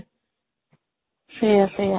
ସେଇଆ ସେଇଆ